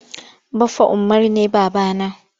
Baffa Umaru ne baba na.